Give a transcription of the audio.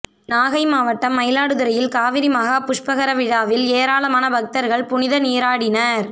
நாகை மாவட்டம் மயிலாடுதுறையில் காவிரி மகா புஷ்பகர விழாவில் ஏராளமான பக்தர்கள் புனித நீராடினர்